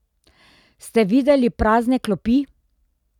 Ste videli prazne klopi?